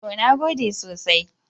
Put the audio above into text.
To, na gode sosai.